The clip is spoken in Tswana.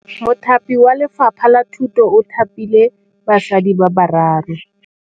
Mothapi wa Lefapha la Thutô o thapile basadi ba ba raro.